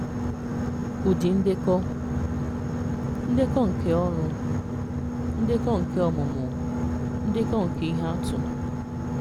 Ụdị ndekọ: Ndekọ nke ọrụ, ndekọ nke ọmụmụ, ndekọ nke ihe àtụ̀.